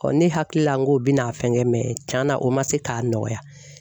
ne hakili la n ko i bɛ n'a fɛn kɛ tiɲɛna o ma se k'a nɔgɔya.